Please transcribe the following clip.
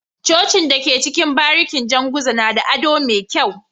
Cocin da ke cikin barikin janguza nada ado me kyau